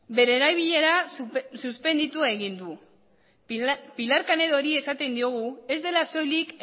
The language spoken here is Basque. bere erabilera suspenditu egin du pilar canedori esaten diogu ez dela soilik